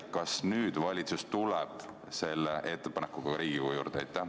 Kas nüüd valitsus tuleb selle ettepanekuga Riigikogu juurde?